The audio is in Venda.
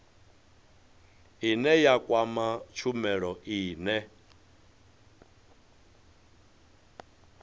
ine ya kwama tshumelo ine